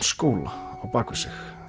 skóla á bak við sig